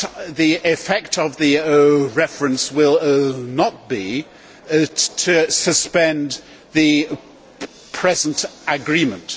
The effect of the reference will not be to suspend the present agreement.